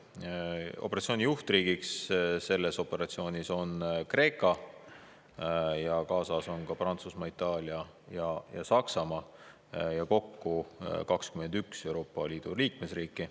Operatsiooni juhtriik on Kreeka, osalevad näiteks Prantsusmaa, Itaalia ja Saksamaa, kokku 21 Euroopa Liidu liikmesriiki.